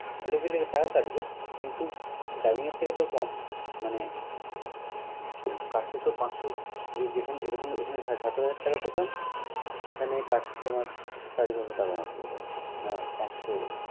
একদিনের জন্য টাকা কাটবে কিন্ত dubbing এর থেকে তো কম। মানে কাটলে তো পাঁচশ যেখানে এরকম~এখানে সাত হাজার টাকা পেতাম এখানে কাটছে তোমার সাড়ে ছয়শ টাকার মত বোধ হয়, বা পাঁচশ।